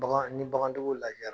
Bagan ni bagantigiw lajɛyara